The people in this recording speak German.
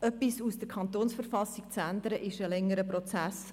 Etwas in der KV zu ändern, ist ein längerer Prozess.